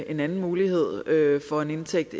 en anden mulighed for en indtægt